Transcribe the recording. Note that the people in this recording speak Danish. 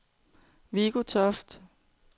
Viggo Toft